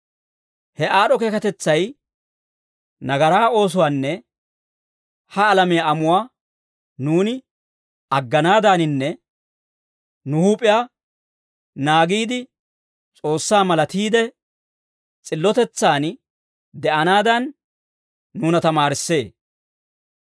He aad'd'o keekatetsay nagaraa oosuwaanne ha alamiyaa amuwaa nuuni agganaadaaninne nu huup'iyaa naagiide, S'oossaa malatiide, s'illotetsan de'anaadan, nuuna tamaarissee.